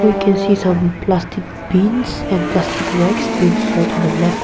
we can see some plastic bins and plastic racks sorted in left.